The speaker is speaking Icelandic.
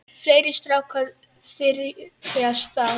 Fleiri strákar þyrpast að.